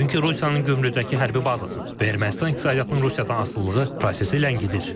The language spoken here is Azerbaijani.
Çünki Rusiyanın Gümrüdəki hərbi bazası və Ermənistan iqtisadiyyatının Rusiyadan asılılığı prosesi ləngidir.